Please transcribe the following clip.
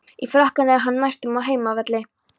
Í Frakklandi er hún næstum á heimavelli.